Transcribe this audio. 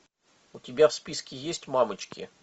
у тебя в списке есть мамочки